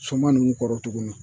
Suman nunnu kɔrɔ tuguni